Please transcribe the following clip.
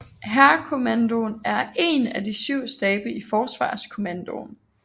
Hærkommandoen er én af syv stabe i Forsvarskommandoen